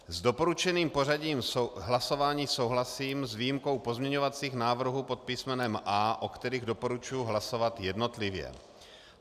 S doporučením pořadí hlasování souhlasím s výjimkou pozměňovacích návrhů pod písmenem A, o kterých doporučuji hlasovat jednotlivě.